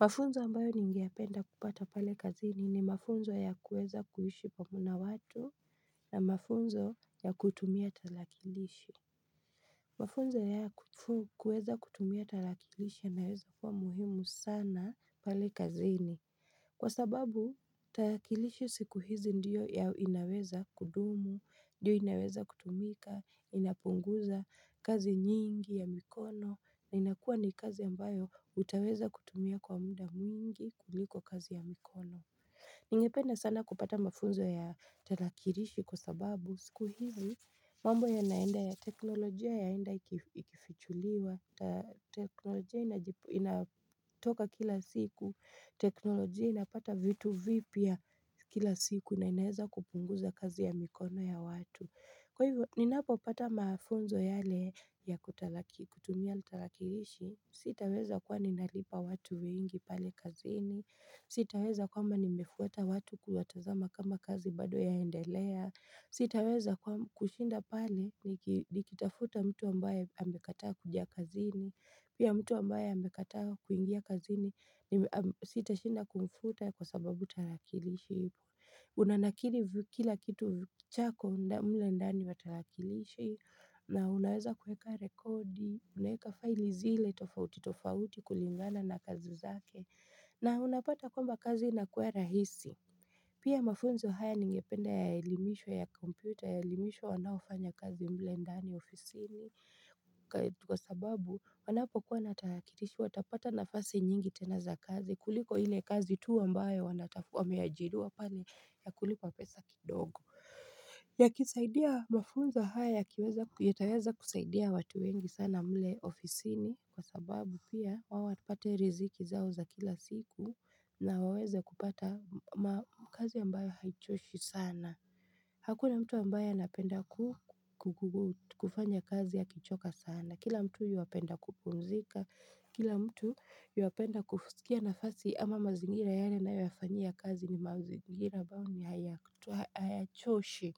Mafunzo ambayo ningependa kupata pale kazini ni mafunzo ya kuweza kuishi pamoja na watu na mafunzo ya kutumia talakilishi. Mafunzo ya kuweza kutumia talakilishi yanaweza kuwa muhimu sana pale kazini. Kwa sababu takilishi siku hizi ndiyo ya inaweza kudumu, ndiyo inaweza kutumika, inapunguza kazi nyingi ya mikono, na inakua ni kazi ambayo utaweza kutumia kwa mda mwingi kuliko kazi ya mikono. Ningependa sana kupata mafunzo ya talakirishi kwa sababu siku hivi mambo yanaenda ya teknolojia yaenda ikifichuliwa teknolojia inatoka kila siku teknolojia inapata vitu vipya kila siku na inaeza kupunguza kazi ya mikono ya watu. Kwa hivyo, ninapo pata mafunzo yale ya kutumia tarakirishi, sitaweza kuwa ninalipa watu wengi pale kazini, sitaweza kwamba nimefuata watu kuwatazama kama kazi bado yaendelea, sitaweza kushinda pale nikitafuta mtu ambaye amekataa kuja kazini, pia mtu ambaye amekataa kuingia kazini sitashinda kumfuta kwa sababu tarakirishi Unanakili kila kitu chako mle ndani wa takilishi na unaweza kueka rekodi unaweka faili zile tofauti tofauti kulingana na kazi zake. Na unapata kwamba kazi inakua rahisi Pia mafunzo haya ningepende yaeilimishwe ya kompyuta yaelimisho wanaofanya kazi mle ndani ofisini Kwa sababu wanapokuwa na tarakilishi watapata nafasi nyingi tena za kazi kuliko ile kazi tu ambayo wanatafu wameajiriwa pale ya kulipwa pesa kidogo. Ya kisaidia mafunza haya yataweza kusaidia watu wengi sana mle ofisini kwa sababu pia wawapate riziki zao za kila siku na waweze kupata kazi ambayo haichoshi sana Hakuna mtu ambaye anapenda kufanya kazi akichoka sana. Kila mtu yuapenda kupzika Kila mtu yuapenda kufusikia nafasi ama mazingira yale anayo yafanyia ykazi ni mazingira ambao hayachoshi.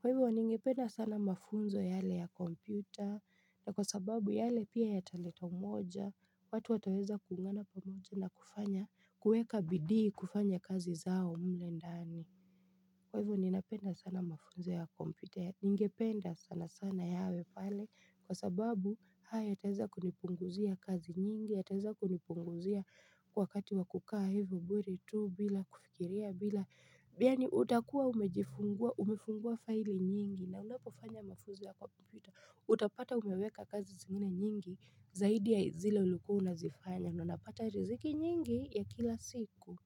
Kwa hivyo ningependa sana mafunzo yale ya kompyuta na kwa sababu yale pia yataleta umoja watu wataweza kuungana pamoja na kufanya kueka bidii kufanya kazi zao mle ndani. Kwa hivyo ninapenda sana mafunzo ya kompyuta, ningependa sana sana yawe pale kwa sababu ha ya teza kunipunguzia kazi nyingi ya teza kunipunguzia wakati wa kukaa hivyo bure tu bila kufikiria bila biani utakuwa umefungua faili nyingi na unapofanya mafuzo ya kompyuta utapata umeweka kazi zingine nyingi zaidi ya zile ulikua unazifanya na unapata riziki nyingi ya kila siku.